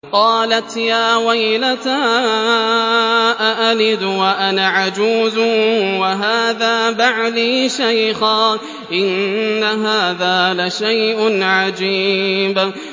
قَالَتْ يَا وَيْلَتَىٰ أَأَلِدُ وَأَنَا عَجُوزٌ وَهَٰذَا بَعْلِي شَيْخًا ۖ إِنَّ هَٰذَا لَشَيْءٌ عَجِيبٌ